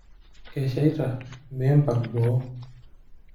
Kesheita mimpang' boo.